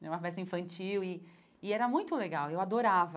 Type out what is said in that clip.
Era uma peça infantil e e era muito legal, eu adorava.